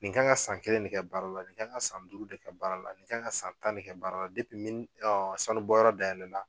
Nin kan ka san kelen de kɛ baara la nin kan ka san duuru de kɛ baara la nin kan ka san tan ne kɛ baara la depi sanu bɔ yɔrɔ dayɛlɛ la.